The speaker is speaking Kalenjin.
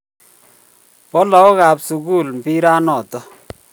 Bo lakok ab sukul mbiret nono